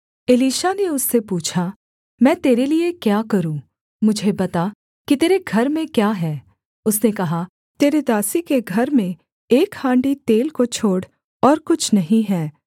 Elisha ने उससे पूछा मैं तेरे लिये क्या करूँ मुझे बता कि तेरे घर में क्या है उसने कहा तेरी दासी के घर में एक हाण्डी तेल को छोड़ और कुछ नहीं है